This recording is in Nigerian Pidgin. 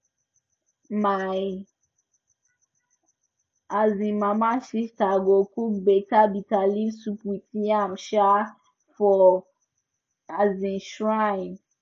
my um mama sister go cook better bitterleaf soup with yam um for um shrine